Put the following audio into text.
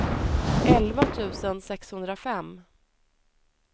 elva tusen sexhundrafem